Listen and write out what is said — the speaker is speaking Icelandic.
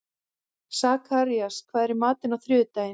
Sakarías, hvað er í matinn á þriðjudaginn?